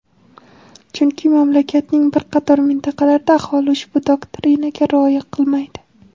chunki mamlakatning bir qator mintaqalarida aholi ushbu doktrinaga rioya qilmaydi.